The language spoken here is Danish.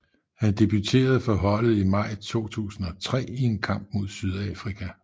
Han debuterede for holdet i maj 2003 i en kamp mod Sydafrika